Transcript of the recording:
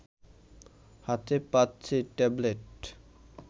হাতে পাচ্ছে ট্যাবলেট